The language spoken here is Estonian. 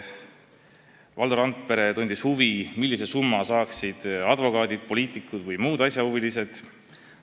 Valdo Randpere tundis huvi, millise summa saaksid advokaadid, poliitikud või muud asjahuvilised.